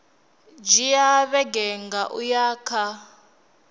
dzhia vhege nṋa uya kha